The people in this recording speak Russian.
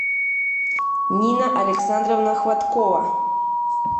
нина александровна хваткова